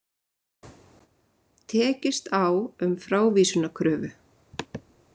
Tekist á um frávísunarkröfu